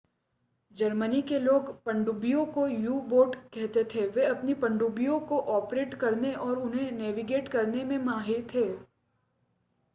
Germany के लोग पनडुब्बियों को यू-बोट कहते थे वे अपनी पनडुब्बियों को ऑपरेट करने और उन्हें नेविगेट करने में माहिर थे